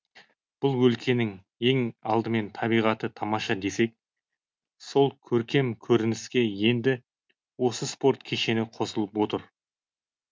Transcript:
бұл өлкенің ең алдымен табиғаты тамаша десек сол көркем көрініске енді осы спорт кешені қосылып отыр